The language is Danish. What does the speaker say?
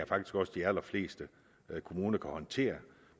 faktisk også de allerfleste kommuner kan håndtere